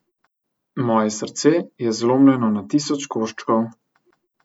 Moje srce je zlomljeno na tisoč koščkov.